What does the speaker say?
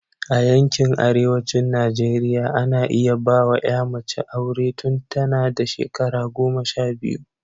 A yankin arewacin Najeriya, ana iya ba wa ‘ya mace aure tun tana da shekara goma sha biyu.